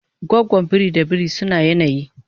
gwagwan biri da biri suna yanayi